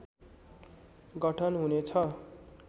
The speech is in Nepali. गठन हुने छ